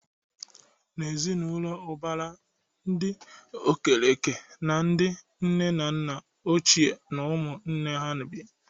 N'ezi na ụlọ ụbara, ndị Okereke na ndị nne na nna ochie na ụmụ nwanne ha bi.